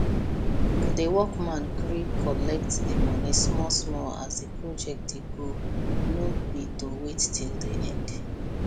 the workman gree collect the money smallsmall as the project dey go no be to wait till the end